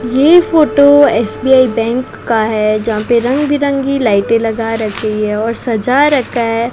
ये photo S B I bank का है जहां पे रंग बिरंगी लाइटें लगा रखी है और सजा रखा है।